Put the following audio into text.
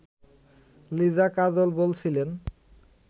লিজা কাজল বলছিলেন